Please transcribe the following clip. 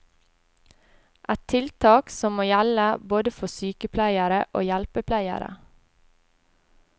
Et tiltak som må gjelde både for sykepleiere og hjelpepleiere.